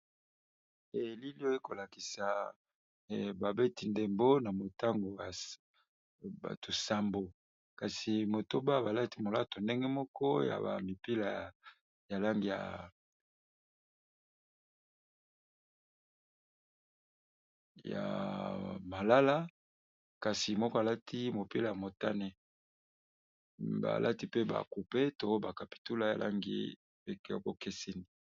elilioyo bazalikolakisa babeti ndembo bazali bato nsambo kasi motoba balati molato ndenge moko ya bamipila ya langi ya malala kasi moko alati mopila ya motane balati pe ba coupe to bakapitula bakangi ekeseni.